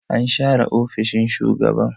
an share ofishin shugaban